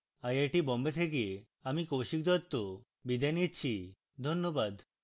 I I T Bombay থেকে আমি কৌশিক দত্ত বিদায় নিচ্ছি ধন্যবাদ